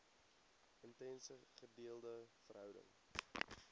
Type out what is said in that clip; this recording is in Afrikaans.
intense gedeelde verhouding